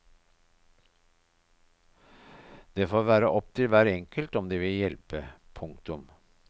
Det får være opp til hver enkelt om de vil hjelpe. punktum